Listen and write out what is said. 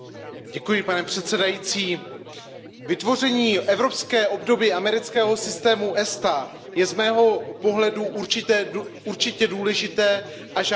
Pane předsedající, vytvoření evropské obdoby amerického systému ESTA je z mého pohledu určitě důležité a žádané.